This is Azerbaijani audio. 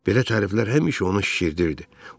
Belə təriflər həmişə onu şişirdirdi.